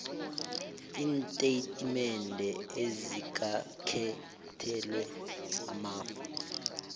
iintatimendezi azikakhethelwa amafa